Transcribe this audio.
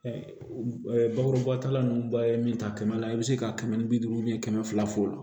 bakuruba ta la ninnu ba ye min ta kɛmɛ i bɛ se ka kɛmɛ ni bi duuru kɛmɛ fila f'o